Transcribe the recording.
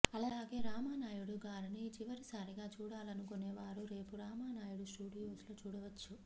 అలాగే రామానాయుడు గారిని చివరిసారిగా చూడాలనుకునే వారు రేపు రామానాయుడు స్టూడియోస్ లో చూడవచ్చు